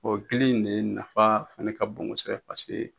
O dili in ne nafa fana ka bon kosɛbɛ paseke